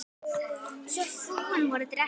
Svo fúin voru dekkin.